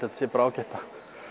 þetta sé bara ágætt að